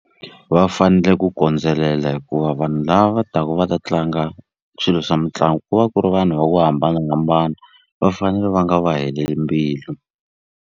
Va fanele ku kondzelela hikuva vanhu lava taku va ta tlanga swilo swa mitlangu ku va ku ri vanhu va ku hambanahambana va fanele va nga va heleli mbilu.